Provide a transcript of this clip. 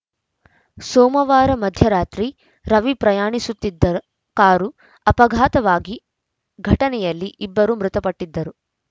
ಸೋಮವಾರ ಮಧ್ಯರಾತ್ರಿ ರವಿ ಪ್ರಯಾಣಿಸುತ್ತಿದ್ದ ಕಾರು ಅಪಘಾತವಾಗಿ ಘಟನೆಯಲ್ಲಿ ಇಬ್ಬರು ಮೃತಪಟ್ಟಿದ್ದರು